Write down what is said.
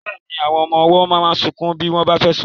Bẹ́ẹ̀ni, àwọn ọmọ ọwọ́ máa ń sunkún bí wọ́n bá fẹ́ sùn.